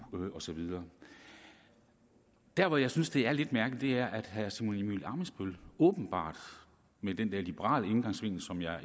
og så videre der hvor jeg synes det er lidt mærkeligt er at herre simon emil ammitzbøll åbenbart med den der liberale indgangsvinkel som jeg